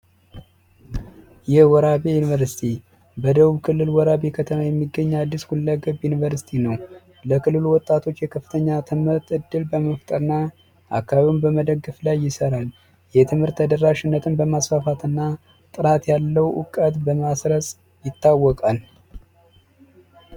የወራቤ ዩኒቨርስቲ በደቡብ ክልል ወራቤ ከተማ የሚገኝ አዲስ ሁለት ዩኒቨርስቲ ነው ለክልሉ ወጣቶች የከፍተኛ ትምህርት ዕድል በመፍጠር አካባቢውን በመደገፍ ላይ ይሰራሉ የትምህርት ተደራሽነትን በማስፋፋትና ጥራት ያለው እውቀት ይታወቃል